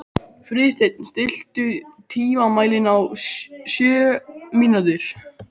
Friðsteinn, stilltu tímamælinn á sjö mínútur.